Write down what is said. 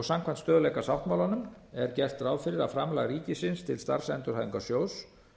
samkvæmt stöðugleikasáttmálanum er gert ráð fyrir að framlag ríkisins til starfsendurhæfingarsjóðs